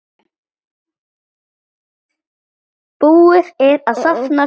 Búið er að safna fé.